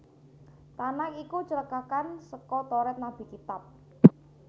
Tanakh iku cekakan saka Toret Nabi Kitab